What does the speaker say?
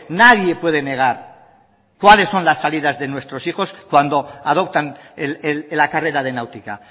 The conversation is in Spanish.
nadie puede negar cuáles son las salidas de nuestros hijos cuando adoptan la carrera de náutica